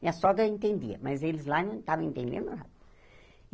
Minha sogra entendia, mas eles lá não estavam entendendo nada.